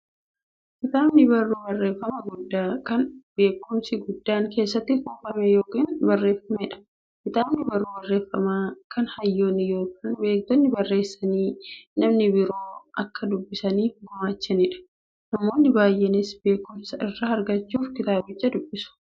Kitaabni barruu barreeffamaa guddaa, kan beekumsi guddaan keessatti kuufame yookiin barreefameedha. Kitaabni barruu barreeffamaa, kan hayyoonni yookiin beektonni barreessanii, namni biroo akka dubbisaniif gumaachaniidha. Namoonni baay'eenis beekumsa irraa argachuuf kitaabicha nidubbisu.